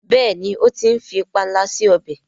béèni o tí ń fí panla sí ọbẹ.